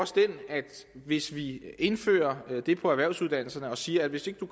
hvis vi indfører det for erhvervsuddannelserne og siger at hvis ikke